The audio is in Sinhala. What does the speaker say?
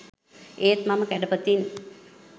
ඒත් මම කැඩපතින්